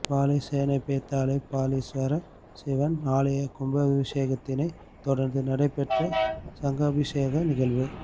வாழைச்சேனை பேத்தாளை பாலீஸ்வரர் சிவன் ஆலய கும்பாவிஷேகத்தினை தொடர்ந்து நடைபெற்ற சங்காபிஷேக நிகழ்வு